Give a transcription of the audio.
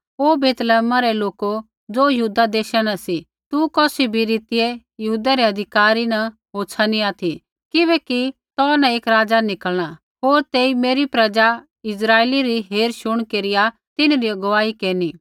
ओ बैतलैहमा रै लोको ज़ो यहूदा देशा न सी तू कौसी भी रीतियै यहूदै रै अधिकारी न होछ़ा नी ऑथि किबैकि तो न एक राज़ा निकल़णा होर तेई मेरी प्रजा इस्राइलै री हेर शुण केरिया तिन्हरी अगुवाई केरनी